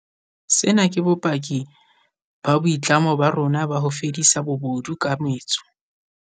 Sena ke bopaki ba boitlamo ba rona ba ho fedisa bobodu ka metso.